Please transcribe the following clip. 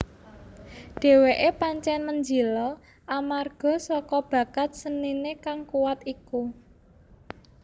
Dheweke pancen menjila amarga saka bakat senine kang kuwat iku